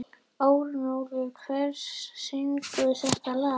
Örnólfur, hver syngur þetta lag?